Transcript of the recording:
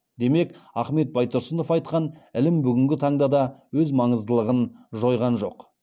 демек ахмет байтұрсынов айтқан ілім бүгінгі таңда да өз маңыздылығын жойған жоқ